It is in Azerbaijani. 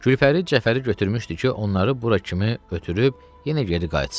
Gülpəri Cəfəri götürmüşdü ki, onları bura kimi ötürüb yenə geri qayıtsın.